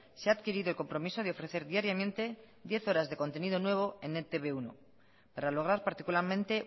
se ha adquirido el compromiso de ofrecer diariamente diez horas de contenido nuevo en e te be uno para lograr particularmente